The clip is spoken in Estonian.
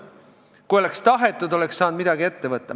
Kui oleks tahetud, oleks saadud midagi ette võtta.